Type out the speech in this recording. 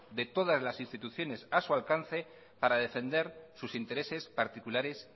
de todas las instituciones a su alcance para defender sus intereses particulares